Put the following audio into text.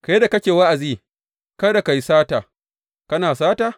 Kai da kake wa’azi kada a yi sata, kana sata?